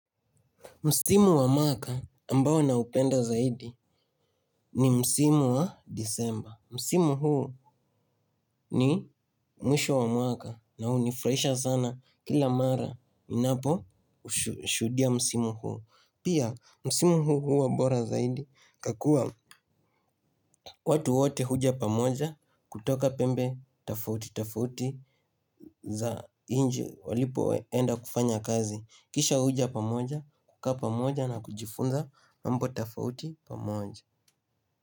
Msimu wa maka ambao na upenda zaidi ni msimu wa disemba. Msimu huu ni mwisho wa mwaka na unifraisha sana kila mara inapo ushudia. Msimu huu. Pia msimu huu huwa bora zaidi kakua. Watu wote huja pamoja kutoka pembe tafauti tafauti za inji walipo enda kufanya kazi. Kisha uja pamoja, kuka pamoja na kujifunza mambo tafauti pamoja.